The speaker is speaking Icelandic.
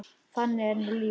Þannig er nú lífið.